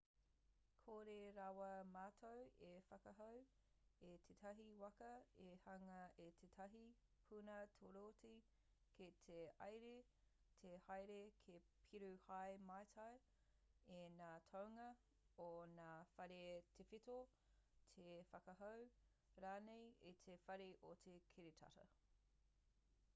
kore rawa mātou e whakahou i tētahi waka e hanga i tētahi puna torotī ki te iāri te haere ki peru hei mātai i ngā toenga o ngā whare tawhito te whakahou rānei i te whare o te kiritata